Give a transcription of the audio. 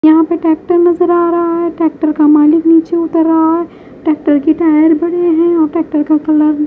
यहां पे ट्रैक्टर नजर आ रहा है ट्रैक्टर का मालिक नीचे उतर रहा है ट्रैक्टर की टायर बड़े है और ट्रैक्टर का कलर --